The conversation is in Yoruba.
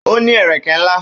Ó ní ẹ̀rẹ̀kẹ́ ńlá